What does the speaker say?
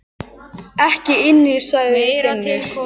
Ekki inni, sagði Finnur.